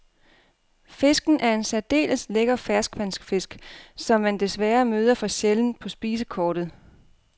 Fisken er en særdeles lækker ferskvandsfisk, som man desværre møder for sjældent på spisekortet.